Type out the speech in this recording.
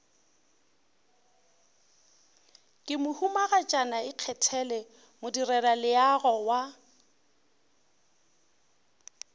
ke mohumagatšana ikgethele modirelaleago wa